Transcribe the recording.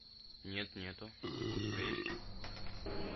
нет нету а у тебя есть